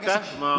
Aitäh!